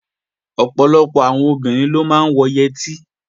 Ọ̀pọ̀lọpọ̀ àwọn obìnrin ló máa ń wọ yẹtí